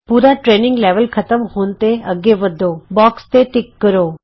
ਪੂਰਾ training level ਖਤਮ ਹੋਣ ਤੇ ਅੱਗੇ ਵੱਧੋ ਬੋਕਸ ਤੇ ਟਿਕ ਕਰੋ